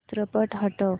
चित्रपट हटव